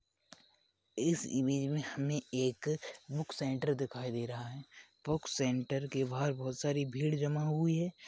इस इमेज में हमें एक बुक सेंटर दिखाई दे रहा है बुक सेंटर के बहार बहोत सारी भीड जमा हुवी है।